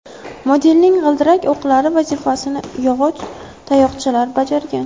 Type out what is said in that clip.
Modelning g‘ildirak o‘qlari vazifasini yog‘och tayoqchalar bajargan.